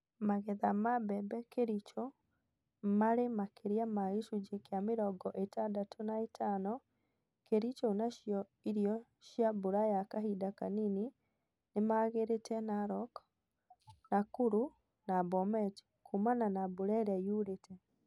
Magetha ma mbembe Kericho marĩ makĩria ma gĩcunji kĩa mirongo ĩtandatũ na ĩtano Kericho nacio irio cia mbura ya kahinda kanini nĩmaagĩrĩte Narok, Nakuru na Bomet kuumana na mbura ĩrĩa yurite